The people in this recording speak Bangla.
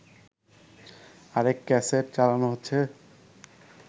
আরেক ক্যাসেট চালানো হচ্ছে